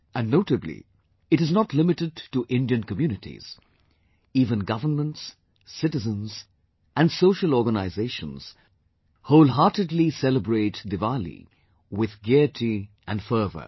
And notably, it is not limited to Indian communities; even governments, citizens and social organisations wholeheartedly celebrate Diwali with gaiety and fervour